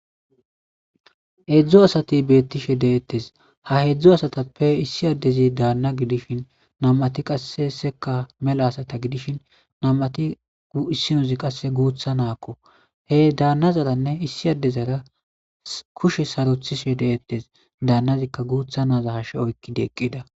Hedzdzo asati beettishe deettes ha heedzdzo asatappe issi addezi daanna gidishin nam7ati qasse seka mela asata gidishin namati isinozi qasse guutha naakko he daannazaranne issi addezara kushe sarothishe deettes daannazikka guutha naaza ha she7oykki deeqqida.